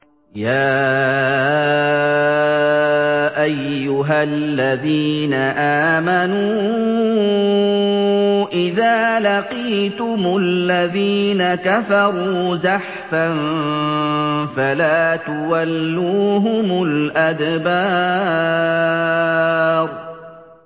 يَا أَيُّهَا الَّذِينَ آمَنُوا إِذَا لَقِيتُمُ الَّذِينَ كَفَرُوا زَحْفًا فَلَا تُوَلُّوهُمُ الْأَدْبَارَ